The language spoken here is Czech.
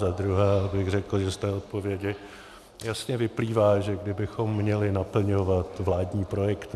Za druhé abych řekl, že z té odpovědi jasně vyplývá, že kdybychom měli naplňovat vládní projekt